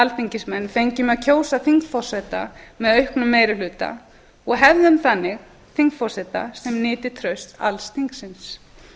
alþingismenn fengjum að kjósa þingforseta með auknum meiri hluta og hefðum þannig þingforseta sem nyti trausts alls þingsins